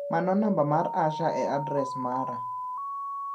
Mano namba mar Asha e adres mara.